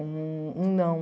Um um não.